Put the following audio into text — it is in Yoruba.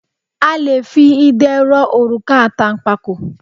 A le fi idẹ rọ òrùka àtànpàkò.